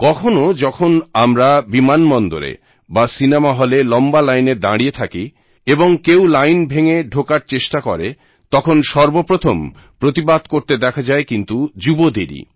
কখনো যখন আমরা বিমানবন্দরে বা সিনেমা হলে লম্বা লাইনে দাঁড়িয়ে থাকি এবং কেউ লাইন ভেঙে ঢোকার চেষ্টা করে তখন সর্বপ্রথম প্রতিবাদ করতে দেখা যায় কিন্তু যুবদেরই